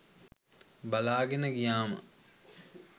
බලාගෙන ගියාම